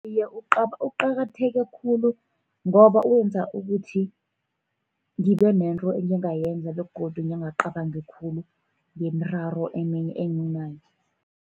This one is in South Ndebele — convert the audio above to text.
Iye, uqakatheke khulu ngoba wenza ukuthi ngibe nento engingayenza, begodu ngingacabangi khulu ngemiraro eminye enginayo.